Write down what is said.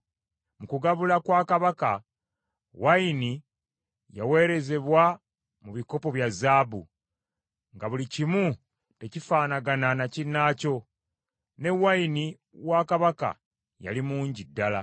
Mu kugabula kwa kabaka, wayini yaweerezebwa mu bikopo bya zaabu, nga buli kimu tekifanagana na kinnaakyo, ne wayini wa Kabaka yali mungi ddala.